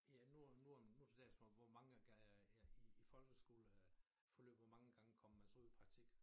Ja nu om nu om nu til dags hvor hvor mange ja i i folkeskole øh forløb hvor mange gange kommer man så ud i praktik